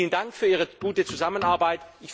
Vielen Dank für Ihre gute Zusammenarbeit.